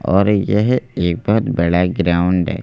और यह एक बहुत बड़ा ग्राउंड है।